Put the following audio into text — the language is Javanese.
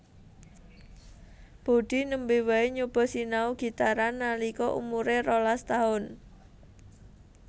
Budi nembe wae nyoba sinau gitaran nalika umuré rolas taun